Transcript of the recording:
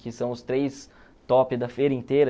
Que são os três tops da feira inteira.